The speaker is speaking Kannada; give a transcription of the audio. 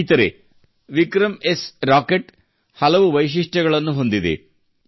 ಸ್ನೇಹಿತರೇ ವಿಕ್ರಮ್ಎಸ್ ರಾಕೆಟ್ ಹಲವು ವೈಶಿಷ್ಟ್ಯಗಳನ್ನು ಹೊಂದಿದೆ